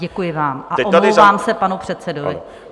Děkuji vám a omlouvám se panu předsedovi.